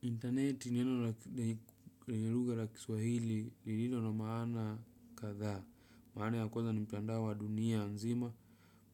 Interneti neno lenye luga la kiswahili lililo na maana kadha, maana ya kwanza ni mtandao wa dunia nzima,